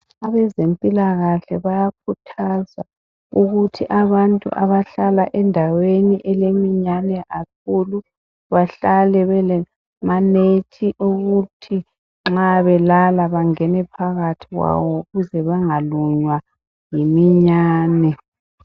Abezempilakahle bayakhuthaza ukuthi abantu abahlala endaweni eleminyane kakhulu bahlale belamanethi okuthi nxa belala bangene phakathi kwawo ukuze bengalunywa yiminyane.